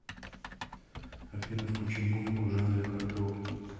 афина включи музыку в жанре хардрог